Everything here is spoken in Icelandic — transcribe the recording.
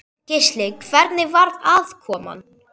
Gísli: Hvernig var aðkoman?